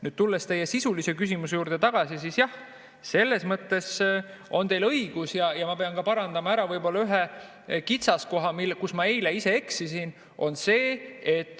Nüüd, tulles teie sisulise küsimuse juurde tagasi, siis jah, selles mõttes on teil õigus ja ma pean ka parandama ära võib-olla ühe kitsaskoha, kus ma eile ise eksisin.